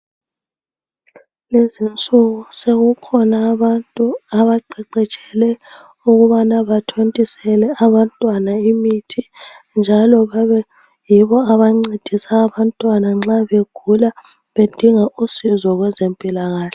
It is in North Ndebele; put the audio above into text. Kulezinsuku sokukhona abantu abaqeqetshelwe ukubana bathontisele abantwana imithi njalo babe yibo abancedisa abantwana nxa begula bedinga usizo kwezempilakahle